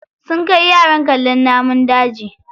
Sun kai yaran kallon namun daji.